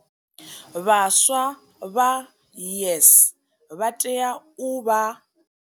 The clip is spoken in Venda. Vhaswa vha YES vha tea u vha.